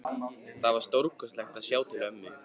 Það var stórkostlegt að sjá til ömmu.